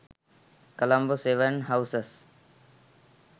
colombo 7 houses